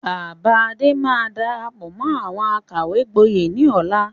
Bàbá Adé máa darapọ̀ mọ́ àwọn àkàwé gboyè ni ọ̀la.